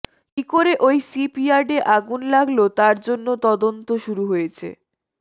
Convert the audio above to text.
কী করে ওই শিপইয়ার্ডে আগুন লাগল তার জন্য তদন্ত শুরু হয়েছে